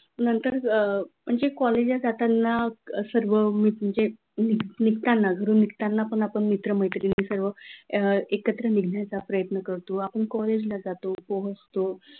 नंतर अ कॉलेजमध्ये जाताना सर्व म्हणजे निघताना घरून निघताना पण आपण मित्र-मैत्रिणीं सर्व एकत्र निघायचा प्रयत्न करतो आपण जातो पोहोचतो,